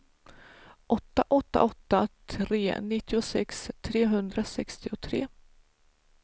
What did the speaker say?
åtta åtta åtta tre nittiosex trehundrasextiotre